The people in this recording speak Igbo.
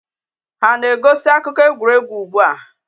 Ha na-egosi akụkọ egwuregwu ugbu a?